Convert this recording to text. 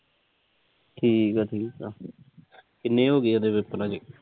ਠੀਕ ਆ ਠੀਕ ਆ। ਕਿੰਨੇ ਹੋਗੇ ਆ ਉਹਦੇ ਪੇਪਰ ਹਜੇ